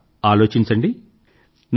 కాస్త ఆలోచించండి